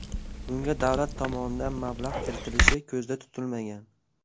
Bunga davlat tomonidan mablag‘ kiritilishi ko‘zda tutilmagan.